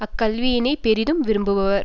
அக்கல்வியினையே பெரிதும் விரும்புவர்